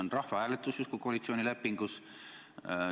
See rahvahääletus on justkui koalitsioonilepingus.